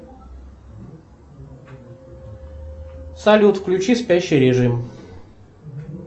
салют включи спящий режим